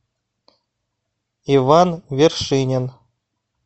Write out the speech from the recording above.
иван вершинин